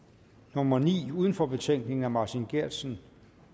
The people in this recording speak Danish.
nummer ni uden for betænkningen af martin geertsen